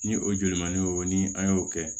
Ni o joli man di o ni an y'o kɛ